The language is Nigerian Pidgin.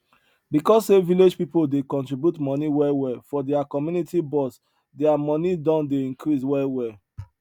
because say village pipo dey contribute money well well for their community box their money don dey increase well well